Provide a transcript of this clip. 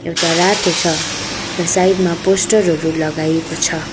एउटा रातो छ र साइड मा पोस्टर हरु लगाइएको छ।